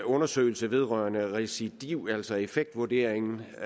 undersøgelsen vedrørende recidiv altså i effektvurderingen jeg